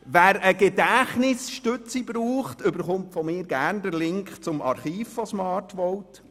Wer eine Gedächtnisstütze benötigt, erhält von mir gerne den Link zum Archiv von Smartvote.